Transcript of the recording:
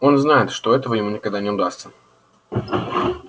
он знает что этого ему никогда не удастся